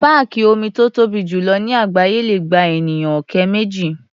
Páàkì omi tó tóbi jù lọ ní àgbááyé le gba ènìyàn ọ̀kẹ́ méjì.